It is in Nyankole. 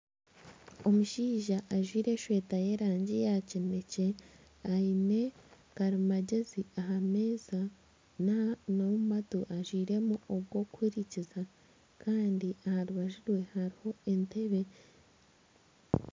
Omushaija ajwaire esaati y'erangi ya kinekye aine karimagyezi aha meeza n'omu matu ajwairemu obwokuhurikiza kandi aha rubaju rwe hariho entebe